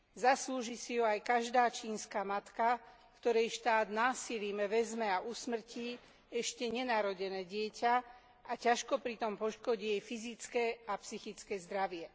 Zaslúži si ju aj každá čínska matka, której štát násilím vezme a usmrtí ešte nenarodené dieťa a ťažko pritom poškodí jej fyzické a psychické zdravie.